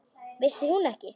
Vissi hún ekki!